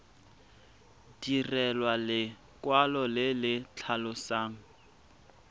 direlwa lekwalo le le tlhalosang